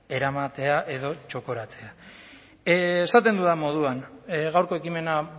eramatea edo txokoratzea esaten dudan moduan gaurko ekimena